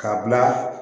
K'a bila